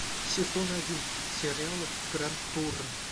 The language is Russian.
сезон один сериала гранд тур